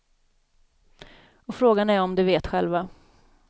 Och frågan är om de vet själva.